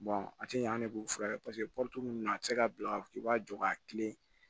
a ti ɲɛ an de b'u furakɛ paseke nunnu na a ti se ka bila i b'a jɔ ka kilen